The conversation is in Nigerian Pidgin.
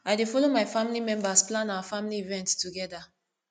i dey folo my family members plan our family event togeda